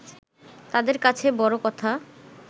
তাঁদের কাছে বড় কথা